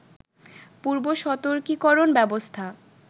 পূর্বসতর্কীকরণ ব্যবস্থা